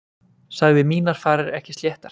Sagði mínar farir ekki sléttar.